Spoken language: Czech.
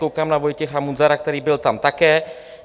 Koukám na Vojtěcha Munzara, který tam byl také.